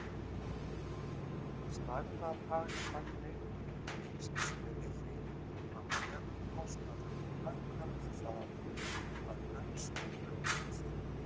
Stærðarhagkvæmni lýsir sér í því að meðalkostnaður lækkar við það að umsvif aukast.